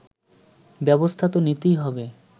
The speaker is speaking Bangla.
ব্যবস্থা তো নিতে হবে